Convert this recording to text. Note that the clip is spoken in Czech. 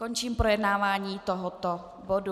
Končím projednávání tohoto bodu.